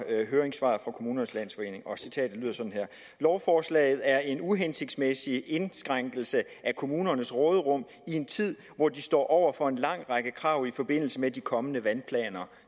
høringssvaret fra kommunernes landsforening og citatet lyder sådan her lovforslaget er en uhensigtsmæssig indskrænkelse af kommunernes råderum i en tid hvor de står overfor en lang række krav i forbindelse med de kommende vandplaner